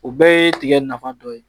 O bɛɛ ye tigɛ nafa dɔ ye